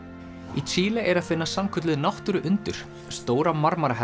í Síle er að finna sannkölluð náttúru undur stóra